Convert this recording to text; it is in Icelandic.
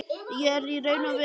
Ég er í raun og veru kallaður.